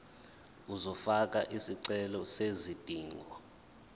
uzofaka isicelo sezidingo